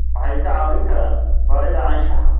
Waxay kaa caawin karaan baridda anshaxa.